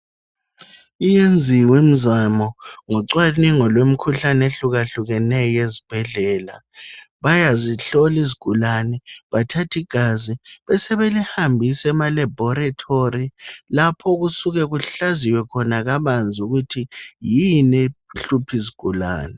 iyenziwe imizamo ngocwanengu lwemikhuhlane ehlukahlukeneyo ezibhedlela bayazihlola izigulane bathathi igazi sebelihambisa ema laboratory lapho okusuke kuhlaziwe kabanzi ukuthi yini ehlupha izigulane